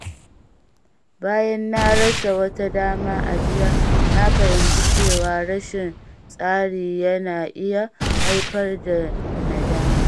Bayan na rasa wata dama a jiya, na fahimci cewa rashin tsari yana iya haifar da nadama.